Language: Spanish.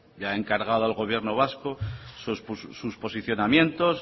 ya ha encargado al gobierno vasco sus posicionamientos